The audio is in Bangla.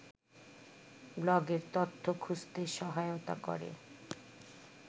ব্লগের তথ্য খুঁজতে সহায়তা করে